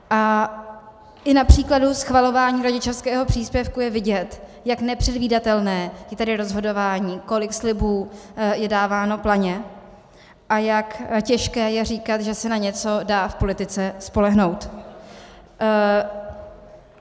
A i na příkladu schvalování rodičovského příspěvku je vidět, jak nepředvídatelné je tady rozhodování, kolik slibů je dáváno planě a jak těžké je říkat, že se na něco dá v politice spolehnout.